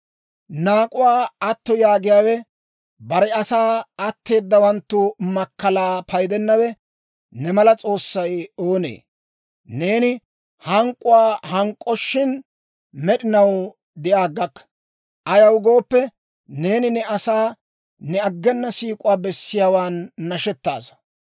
Naak'uwaa atto yaagiyaawe, bare asaa atteedawanttu makkalaa paydennawe ne mala S'oossay oonee? Neeni hank'k'uu hank'k'oshin, med'inaw de'a aggakka; ayaw gooppe, neeni ne asaw ne aggena siik'uwaa bessiyaawan nashettaasa.